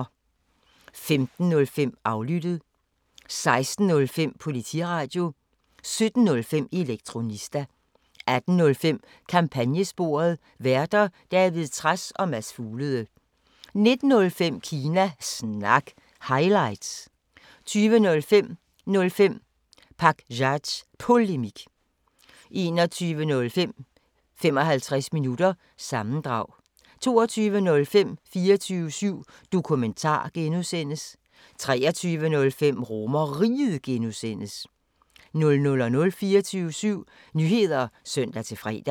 15:05: Aflyttet 16:05: Politiradio 17:05: Elektronista 18:05: Kampagnesporet: Værter: David Trads og Mads Fuglede 19:05: Kina Snak – highlights 20:05: 05 Pakzads Polemik 21:05: 55 Minutter – sammendrag 22:05: 24syv Dokumentar (G) 23:05: RomerRiget (G) 00:00: 24syv Nyheder (søn-fre)